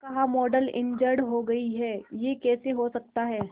क्या कहा model injured हो गई है यह कैसे हो सकता है